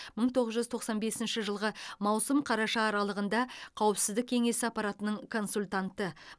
мың тоғыз жүз тоқсан бесінші жылғы маусым қараша аралығында қауіпсіздік кеңесі аппаратының консультанты